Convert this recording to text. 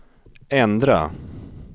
ändra